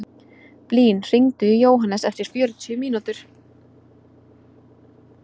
Blín, hringdu í Jóhannes eftir fjörutíu mínútur.